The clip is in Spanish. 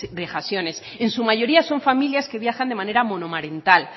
vejaciones en su mayoría son familias que viajan de monomarental